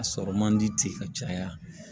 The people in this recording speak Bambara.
A sɔrɔ man di ten ka caya